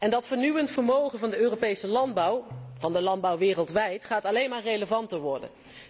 Dat vernieuwend vermogen van de Europese landbouw, van de landbouw wereldwijd, zal alleen maar relevanter worden.